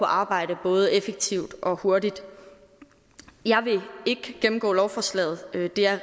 arbejde både effektivt og hurtigt jeg vil ikke gennemgå lovforslaget det er